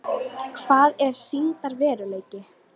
Hvað er sýndarveruleiki?